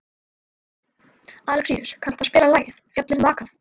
Alexíus, kanntu að spila lagið „Fjöllin hafa vakað“?